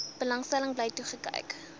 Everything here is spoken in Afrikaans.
belangstelling bly toekyk